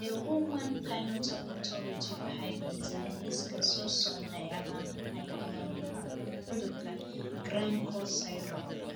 The Human Phenotype Ontology waxay bixisaa liiska soo socda ee calaamadaha iyo calaamadaha cudurka Graham Cox syndrome.